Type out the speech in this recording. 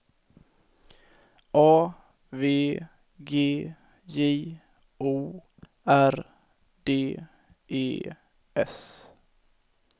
A V G J O R D E S